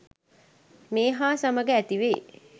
මේ හා සමග ඇති වෙයි.